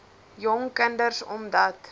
jong kinders omdat